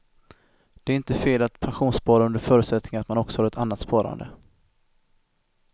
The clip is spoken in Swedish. Det är inte fel att pensionsspara under förutsättning att man också har ett annat sparande.